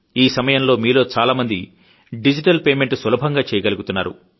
ఈసమయంలో మీలో చాలా మంది డిజిటల్ పేమెంట్ సులభంగా చేయగలుగుతున్నారు